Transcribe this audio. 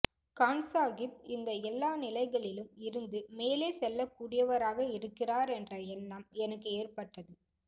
கான்சாகிப் இந்த எல்லா நிலைகளிலும் இருந்து மேலே செல்லக்கூடியவராக இருக்கிறார் என்ற எண்ணம் எனக்கு ஏற்பட்டது